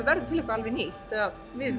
verður til eitthvað alveg nýtt eða við